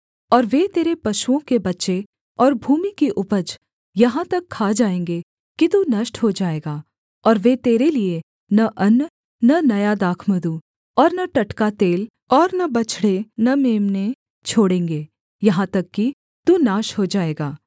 और वे तेरे पशुओं के बच्चे और भूमि की उपज यहाँ तक खा जाएँगे कि तू नष्ट हो जाएगा और वे तेरे लिये न अन्न और न नया दाखमधु और न टटका तेल और न बछड़े न मेम्ने छोड़ेंगे यहाँ तक कि तू नाश हो जाएगा